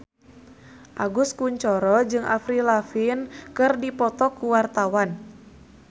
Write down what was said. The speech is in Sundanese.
Agus Kuncoro jeung Avril Lavigne keur dipoto ku wartawan